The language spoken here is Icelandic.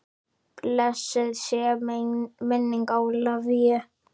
Blessuð sé minning Ólafíu.